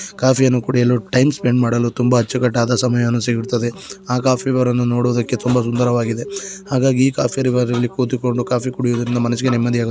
coffee ಯನ್ನು ಕುಡಿಯಲು time spend ಮಾಡಲು ತುಂಬಾ ಅಚ್ಚುಕಟ್ಟಾದ ಸಮಯವನ್ನು ಸಿಗುತ್ತದೆ ಆ ಕಾಫಿ ಬಾರನ್ನು ನೊಡುವುದಕ್ಕೆ ತುಂಬಾ ಸುಂದರವಾಗಿದೆ ಹಾಗಾಗಿ ಈ ಕಾಫಿ ಬಾರಲ್ಲಿ ಕುತುಕೊಂಡು ಕಾಫಿ ಕುಡಿಯುದರಿಂದ ಮನಸಿಗೆ ನೆಮ್ಮದಿಯಾಗು --